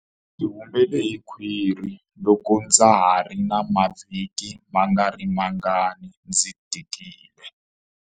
Ndzi humele hi khwiri loko ndza ha ri na mavhiki mangarimangani ndzi tikile.